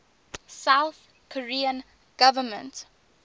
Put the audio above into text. south korean government